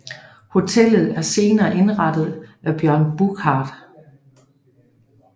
Hotellet er senere nyindrettet af Jørgen Buschardt